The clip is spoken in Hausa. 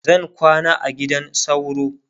zan kwana a gidan sauro